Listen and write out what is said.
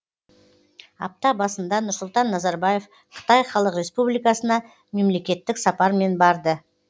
апта басында нұрсұлтан назарбаев қытай халық республикасына мемлекеттік сапармен барды